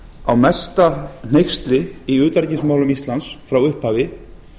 á mesta hneyksli í utanríkismálum íslands frá upphafi